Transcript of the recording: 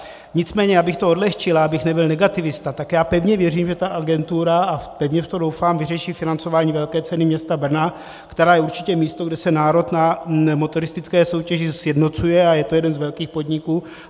Nicméně abych to odlehčil a abych nebyl negativista, tak já pevně věřím, že ta agentura, a pevně v to doufám, vyřeší financování velké ceny města Brna, která je určitě místo, kde se národ na motoristické soutěži sjednocuje, a je to jeden z velkých podniků.